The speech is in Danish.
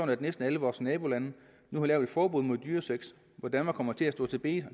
at næsten alle vores nabolande nu har lavet et forbud mod dyresex hvor danmark kommer til at stå tilbage